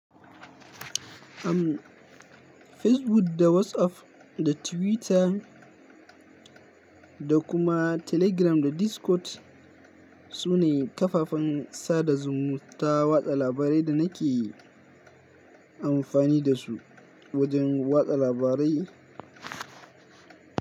Am Facebook da WhatsApp da Twitter da kuma Telegram da Discord su ne kafafen sada zumunta watsa labarai da nake amfani da su wajen watsa labarai.